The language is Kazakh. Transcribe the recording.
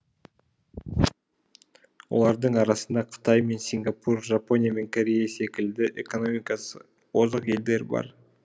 олардың арасында қытай мен сингапур жапония мен корея секілді экономикасы озық елдер бар